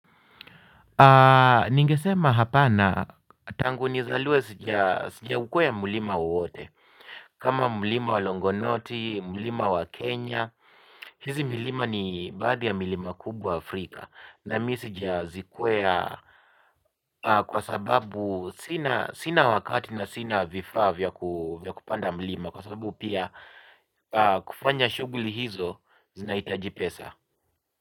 Ningesema hapana tangu nizaliwe sija ukweya mulima wowote. Kama mulima wa Longonoti, mulima wa Kenya. Hizi milima ni baadhi ya milima kubwa Afrika. Na mi sijazikwea kwa sababu sina wakati na sina vifaa vya kupanda mulima. Kwa sababu pia kufanya shuguli hizo zinahitaji pesa.